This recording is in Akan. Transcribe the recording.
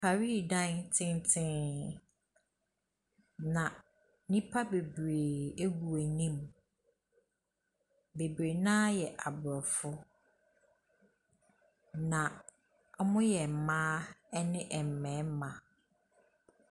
Parii dan tenten na nnipa bebree ɛgu anim. Bebree naa ɛyɛ aborɔfo na ɔmo yɛ mmaa ɛne mmɛɛma.